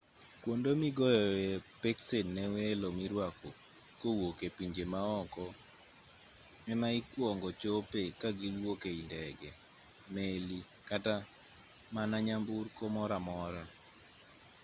kwonde migoyoe peksen ne welo mirwako kowuok e pinje maoko ama ikuongo chope ga kiwuok ei ndege meli kata mana nyamburko moramora